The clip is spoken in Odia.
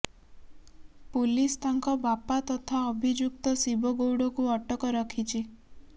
ପୁଲିସ୍ ତାଙ୍କ ବାପା ତଥା ଅଭିଯୁକ୍ତ ଶିବ ଗୌଡ଼କୁ ଅଟକ ରଖିଛି